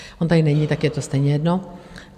On tady není, tak je to stejně jedno.